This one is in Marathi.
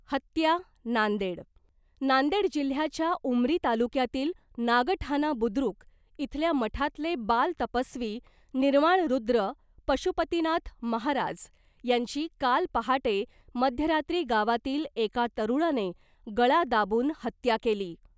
हत्या, नांदेड, नांदेड जिल्ह्य़ाच्या उमरी तालुक्यातील नागठाना बुद्रुक इथल्या मठातले बाल तपस्वी निर्वाणरुद्र पशुपतीनाथ महाराज यांची काल पहाटे मध्यरात्री गावातील एका तरूणाने गळा दाबून हत्या केली .